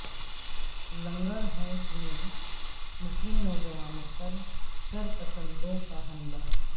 لنگر حوض میں مسلم نوجوانوں پر شرپسندوں کا حملہ